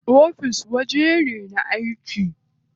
Ofis wajen da ake aiki ne.